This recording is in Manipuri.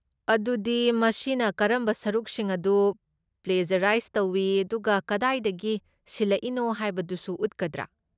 ꯑꯗꯨꯗꯤ ꯃꯁꯤꯅ ꯀꯔꯝꯕ ꯁꯔꯨꯛꯁꯤꯡ ꯑꯗꯨ ꯄ꯭ꯂꯦꯖꯔꯥꯏꯖ ꯇꯧꯏ ꯑꯗꯨꯒ ꯀꯗꯥꯏꯗꯒꯤ ꯁꯤꯜꯂꯛꯏꯅꯣ ꯍꯥꯏꯕꯗꯨꯁꯨ ꯎꯠꯀꯗ꯭ꯔꯥ?